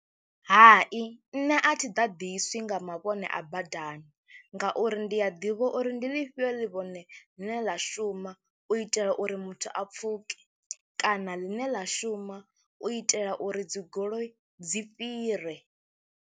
Hai, nṋe a thi ḓaḓiswi nga mavhone a badani ngauri ndi a ḓivha uri ndi ḽifhio ḽivhone ḽine ḽa shuma u itela uri muthu a pfhuke kana ḽine ḽa shuma u itela uri dzi goloi dzi fhire.